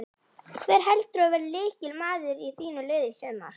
Hver heldurðu að verði lykilmaður í þínu liði í sumar?